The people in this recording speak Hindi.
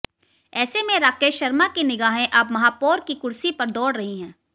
ऐसे में राकेश शर्मा की निगाहें अब महापौर की कुर्सी पर दौड़ रही हैं